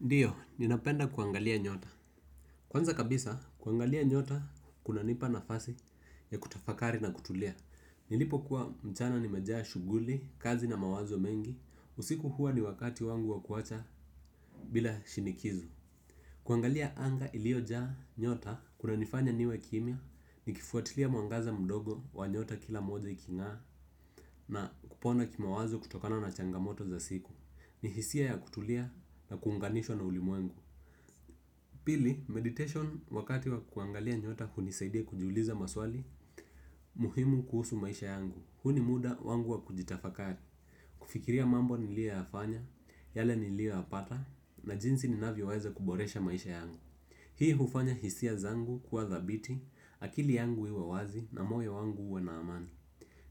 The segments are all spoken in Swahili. Ndiyo, ninapenda kuangalia nyota. Kwanza kabisa, kuangalia nyota kunanipa nafasi ya kutafakari na kutulia. Nilipo kuwa mchana nimejaa shughuli, kazi na mawazo mengi. Usiku huwa ni wakati wangu wakuacha bila shinikizo. Kuangalia anga iliojaa nyota kuna nifanya niwe kimya, nikifuatilia mwangaza mdogo wa nyota kila moja iking'aa. Na kupona kimawazo kutokana na changamoto za siku. Ni hisia ya kutulia na kuunganishwa na ulimwengu. Pili, meditation wakati wa kuangalia nyota hunisaidia kujiuliza maswali, muhimu kuhusu maisha yangu. Huu ni muda wangu wa kujitafakari. Kufikiria mambo niliyoyafanya, yale niliyoyapata, na jinsi ninavyo weza kuboresha maisha yangu. Hii hufanya hisia zangu kuwa dhabiti, akili yangu iwe wazi na moyo wangu uwe na amani.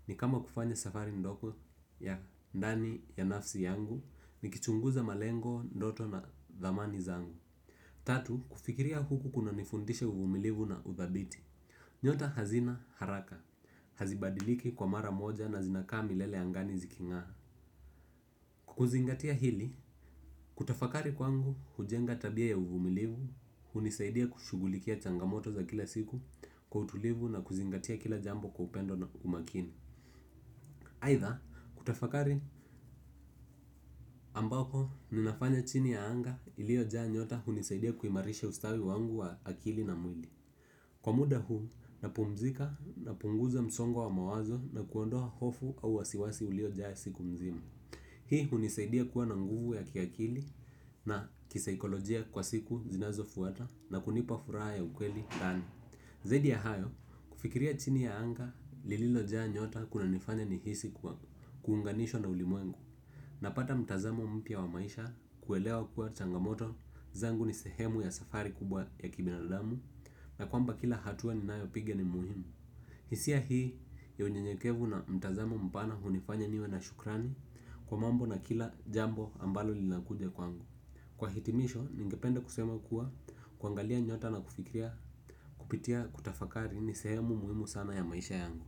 Ni kama kufanya safari ndogo ya ndani ya nafsi yangu, nikichunguza malengo, ndoto na dhamani zangu. Tatu, kufikiria huku kunanifundisha uvumilivu na udhabiti. Nyota hazina haraka, hazibadiliki kwa mara moja na zinakaa milele angani ziking'aa. Kwa kuzingatia hili, kutafakari kwangu hujenga tabia ya uvumilivu, hunisaidia kushugulikia changamoto za kila siku kwa utulivu na kuzingatia kila jambo kwa upendo na umakini. Aidha, kutafakari ambako ninafanya chini ya anga iliojaa nyota hunisaidia kuimarisha ustawi wangu wa akili na mwili. Kwa muda huu, napumzika, napunguza msongo wa mawazo na kuondoa hofu au wasiwasi uliojaa siku mzima. Hii hunisaidia kuwa na nguvu ya kiakili na kisaikolojia kwa siku zinazo fuata na kunipa furaha ya ukweli ndani. Zaidi ya hayo, kufikiria chini ya anga lilojaa nyota kunanifanya nihisi kwa kuunganishwa na ulimwengu. Napata mtazamo mpya wa maisha kuelewa kuwa changamoto zangu ni sehemu ya safari kubwa ya kibinadamu. Na kwamba kila hatua ninayopiga ni muhimu. Hisia hii ya unyenyekevu na mtazamo mpana hunifanya niwe na shukrani kwa mambo na kila jambo ambalo linakuja kwangu. Kwa hitimisho ningependa kusema kuwa kuangalia nyota na kufikria, kupitia kutafakari ni sehemu muhimu sana ya maisha yangu.